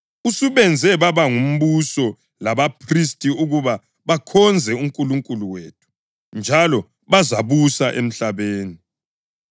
Usubenze baba ngumbuso labaphristi ukuba bakhonze uNkulunkulu wethu, njalo bazabusa emhlabeni.”